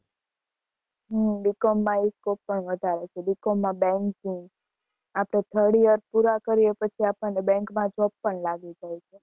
હમ B. com. માં ઈ scope પણ વધારે છે, B. com. માં banking આપણે third year પુરા કરીએ પછી આપણને bank માં job પણ લાગી જાય છે.